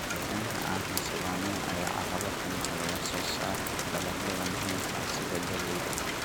Deegaanka aan xasilloonayn ayaa caqabad ku ah wax soo saarka dalagyada muhiimka ah sida galleyda.